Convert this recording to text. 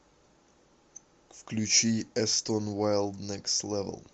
включи эстон вайлд некст левел